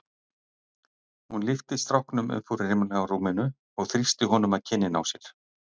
Hún lyfti stráknum upp úr rimlarúminu og þrýsti honum að kinninni á sér.